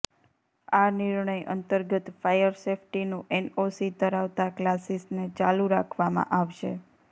આ નિર્ણય અંતર્ગત ફાયર સેફ્ટીનું એનઓસી ધરાવતા ક્લાસીસને ચાલુ રાખવામાં આવશે